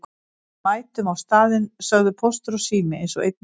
Við mætum á staðinn sögðu Póstur og Sími eins og einn maður.